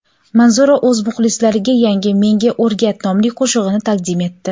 Manzura o‘z muxlislariga yangi "Menga o‘rgat " nomli qo‘shig‘ini taqdim etdi.